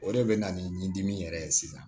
O de bɛ na ni dimi yɛrɛ ye sisan